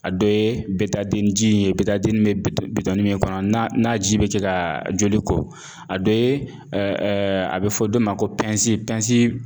A dɔ ye ji ye be bito bitɔnni min kɔnɔ n'a n'a ji bɛ ce kaa joli kɔ. A dɔ ye a bɛ fɔ dɔ ma ko pɛnsi pɛnsi